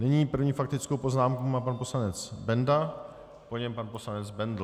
Nyní první faktickou poznámku má pan poslanec Benda, po něm pan poslanec Bendl.